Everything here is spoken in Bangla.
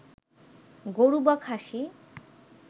গরু বা খাসি